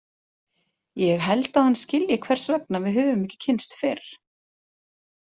Ég held að hann skilji hvers vegna við höfum ekki kynnst fyrr.